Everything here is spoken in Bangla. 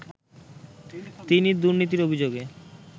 তিনি দুর্নীতির অভিযোগে